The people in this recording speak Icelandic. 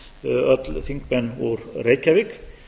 öll þingmenn úr reykjavík